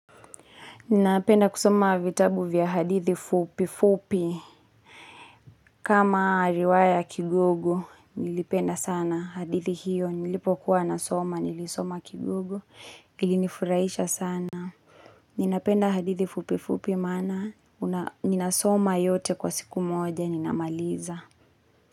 Ninapenda kusoma vitabu vya hadithi fupi fupi, kama riwaya kigugu, nilipenda sana hadithi hiyo, nilipokuwa nasoma, nilisoma kigugu, ilinifuraisha sana. Ninapenda hadithi fupi fupi maana, ninasoma yote kwa siku moja, ninamaliza.